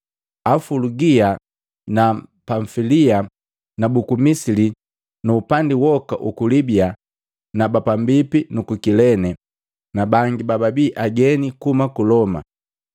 Afulugia na Pamfilia, na buku Misili nu upandi woka Uku Libiya na pambipi nuku Kilene na bangi bababi ageni kuhuma ku Loma.